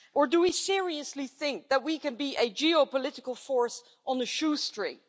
Or do we seriously think that we can be a geopolitical force on a shoestring?